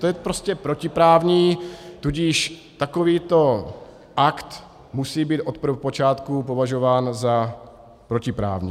To je prostě protiprávní, tudíž takovýto akt musí být od prvopočátku považován za protiprávní.